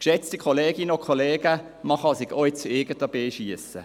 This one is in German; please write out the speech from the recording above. – Geschätzte Kolleginnen und Kollegen, man kann sich auch ins eigene Bein schiessen.